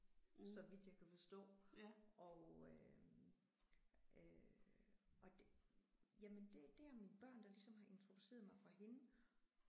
Så vidt jeg kan forstå og øh og jamen det det er mine børn der ligesom har introduceret mig for hende